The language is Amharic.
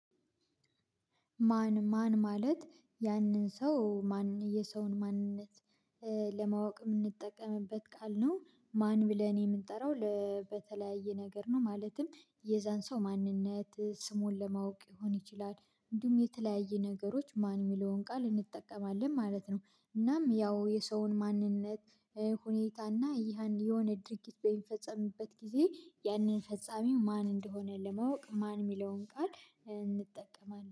ማን ማን ማለት ያንን ሰው ማን የሰውን ማንነት ለማወቅ የምንጠቀምበት ቃል ነው። ማን ብለህ እኔ የምንጠራው በተለያየ ነገር ነው። ማለትም የዛን ሰው ማንነት ስሙን ለማወቅ ሊሆን ይችላል። እንዲሁም የተለያየ ነገሮች ማን የሚለውን ቃል እንጠቀማለን ማለት ነው። እናም ያው የሰውን ማንነት ሁኔታ እና ይሄ የሆነ ድርጊት በሚፈጸምበት ጊዜ ያንን ፈጻሚው ማን እንደሆነ ለማወቅ ማን የሚለውን ቃል እንጠቀማለን